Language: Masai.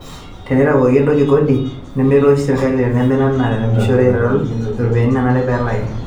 Teneitawuoki entoki kodi, nemeitoosh serkali tenemira na ina pemeishori eitadoyio ropiyiani nanare pelaki.